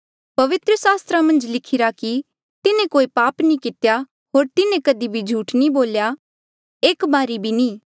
पवित्र सास्त्रा मन्झ लिखिरा कि तिन्हें कोई पाप नी कितेया होर तिन्हें कधी भी झूठ नी बोल्या एक बारी भी नी